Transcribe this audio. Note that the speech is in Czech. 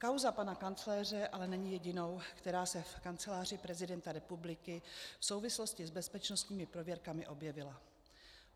Kauza pana kancléře ale není jedinou, která se v Kanceláři prezidenta republiky v souvislosti s bezpečnostními prověrkami objevila.